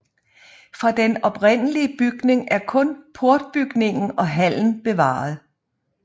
Fra den oprindelige bygning er kun portbygningen og hallen bevaret